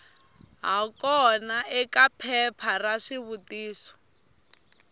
hakona eka phepha ra swivutiso